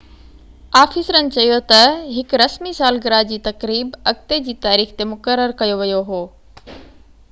آفيسرن چيو ته هڪ رسمي سالگره جي تقريب اڳتي جي تاريخ تي مقرر ڪيو ويو هو